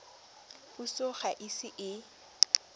puso ga e ise e